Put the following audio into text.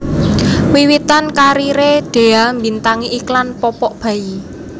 Wiwitan kariré Dhea mbintangi iklan popok bayi